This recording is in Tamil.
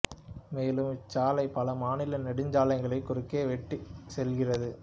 மேலும் இச் சாலை பல மாநில நெடுஞ்சாலைகளையும் குறுக்கே வெட்டிச் செல்கின்றது